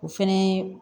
O fɛnɛ ye